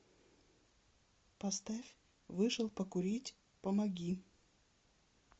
поставь вышел покурить помоги